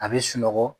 A bɛ sunɔgɔ